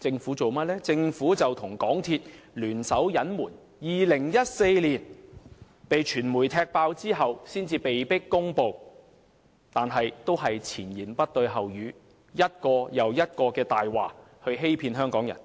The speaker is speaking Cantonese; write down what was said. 政府卻與港鐵公司聯手隱瞞，直至傳媒在2014年"踢爆"事件後，他們才被迫公開情況，但仍是前言不對後語，以一個又一個謊言來欺騙香港人。